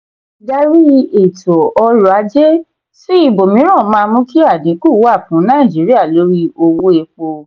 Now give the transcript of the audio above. ìdarí ètò orò-ajé sí ibòmíràn máa mú kí adínkú wà fún nàìjíríà lórí owó èpo.